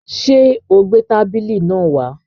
Sé o gbé tábìlì náà wá?